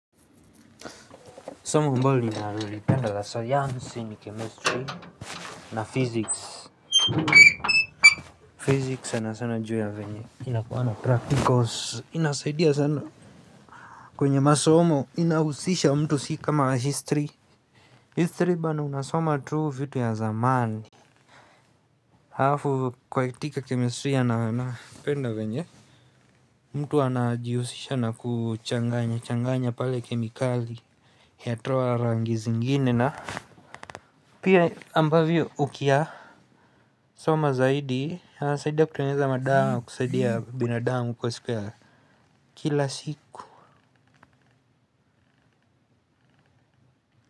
Somo ambalo ninalipenda la sayansi ni chemistry na physics Physics sana sana juu ya venye inakuwa na practicals inasaidia sana. Kwenye masomo inahusisha mtu sii kama history History bana unasoma tu vitu ya zamani. Halafu katika chemistry napenda venye mtu anajihusisha na kuchanganya changanya pale kemikali yatoa rangi zingine na pia ambavyo ukiyasoma zaidi yanasaidia kutengeneza madawa na kusaidia binadamu kwa siku ya kila siku.